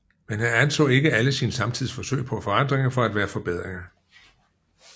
Men han anså ikke alle sin samtids forsøg på forandringer for at være forbedringer